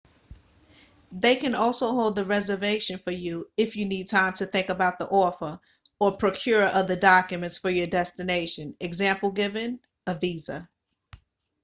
they can also hold the reservation for you if you need time to think about the offer or procure other documents for your destination e.g. visa